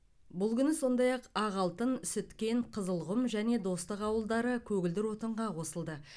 бұл күні сондай ақ ақалтын сүткент қызылқұм және достық ауылдары көгілдір отынға қосылды